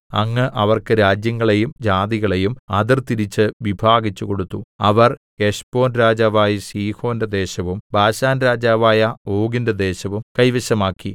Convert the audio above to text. അങ്ങ് അവർക്ക് രാജ്യങ്ങളെയും ജാതികളെയും അതിർതിരിച്ച് വിഭാഗിച്ചു കൊടുത്തു അവർ ഹെശ്ബോൻ രാജാവായ സീഹോന്റെ ദേശവും ബാശാൻരാജാവായ ഓഗിന്റെ ദേശവും കൈവശമാക്കി